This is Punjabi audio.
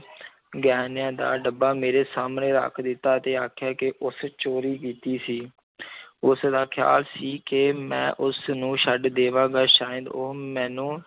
ਗਹਿਣਿਆਂ ਦਾ ਡੱਬਾ ਮੇਰੇ ਸਾਹਮਣੇ ਰੱਖ ਦਿੱਤਾ ਅਤੇ ਆਖਿਆ ਕਿ ਉਸ ਚੋਰੀ ਕੀਤੀ ਸੀ ਉਸਦਾ ਖਿਆਲ ਸੀ ਕਿ ਮੈਂ ਉਸਨੂੰ ਛੱਡ ਦੇਵਾਂਗਾ ਸ਼ਾਇਦ ਉਹ ਮੈਨੂੰ